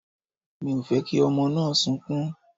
Mi ò fẹ́ kí ọmọ náà sunkún.